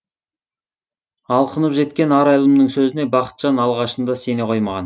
алқынып жеткен арайлымның сөзіне бақытжан алғашында сене қоймаған